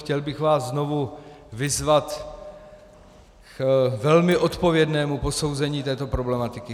Chtěl bych vás znovu vyzvat k velmi odpovědnému posouzení této problematiky.